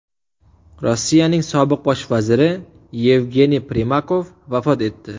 Rossiyaning sobiq bosh vaziri Yevgeniy Primakov vafot etdi.